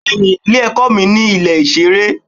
Bẹ́ẹ̀ni, ilé-ẹ̀kọ́ mi ní ilé ìṣeré.